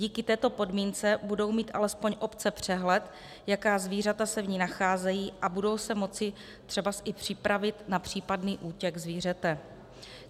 Díky této podmínce budou mít alespoň obce přehled, jaká zvířata se v ní nacházejí, a budou se moci třebas i připravit na případný útěk zvířete.